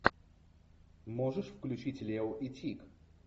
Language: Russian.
можешь включить лео и тик